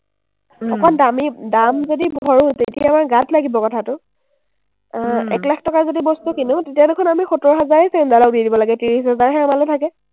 অকমান দামী-দাম যদি ভৰোঁ, তেতিয়া আমাৰ গাত লাগিব কথাটো। আহ এক লাখ টকাৰ যদি বস্তু কিনো, তেতিয়া দেখোন আমি সত্তৰ হাজাৰেই চেইনডালক দি দিব লাগে, ত্ৰিছ হাজাৰহে আমালে থাকে।